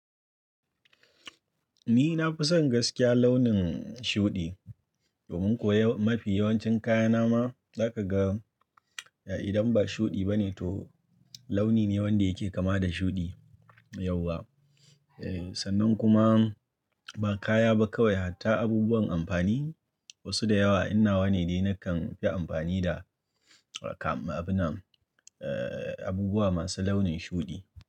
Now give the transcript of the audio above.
Ni na fi son gaskiya launin shuɗi domin kuwa mafi yawancin kayana ma zaka ga idan ba shuɗi bane to launi ne wanda yake kama da shuɗi yauwa. Sannan kuma ba kaya ba kawai hatta abubuwan amfani wasu da yawa inna wane dai nakan fi amfani da kam abinan abubuwa masu launin shuɗi.